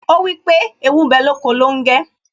Ó wípé ' Ewu ń bẹ lóko longe'